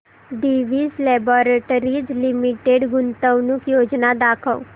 Divi's laboratories limited गुंतवणूक योजना दाखव